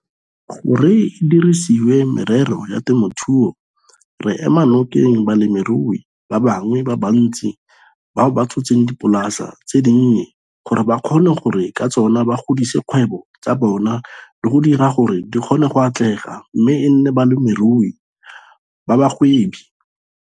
gore e dirisediwe merero ya temothuo, re ema nokeng balemirui ba bangwe ba bantsi bao ba tshotseng dipolasi tse dinnye gore ba kgone gore ka tsona ba godise dikgwebo tsa bona le go dira gore di kgone go atlega mme e nne balemirui ba bagwebi.